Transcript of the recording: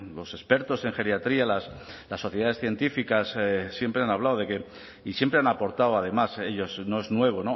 los expertos en geriatría las sociedades científicas siempre han hablado de que y siempre han aportado además ellos no es nuevo